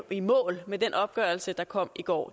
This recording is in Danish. i mål med den opgørelse der kom i går